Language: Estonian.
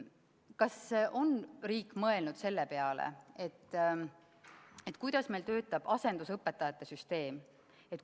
Kas riik on mõelnud selle peale, kuidas meil töötab asendusõpetajate süsteem?